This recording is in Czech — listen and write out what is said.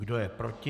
Kdo je proti?